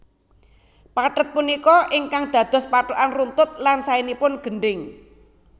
Pathet punika ingkang dados patokan runtut lan saenipun gendhing